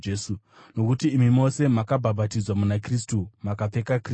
nokuti imi mose makabhabhatidzwa muna Kristu makapfeka Kristu.